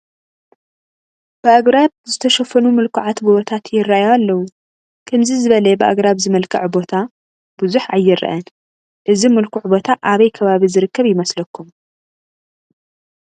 ብኣግራብ ዝተሸፈኑ ምልኩዓት ጐቦታት ይርአዩ ኣለዉ፡፡ ከምዚ ዝበለ ብኣግራብ ዝመልክዐ ቦታ ብዙሕ ኣይርአን፡፡ እዚ ምልኩዕ ቦታ ኣበይ ከባቢ ዝርከብ ይመስለኩም?